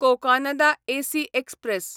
Cocanada AC express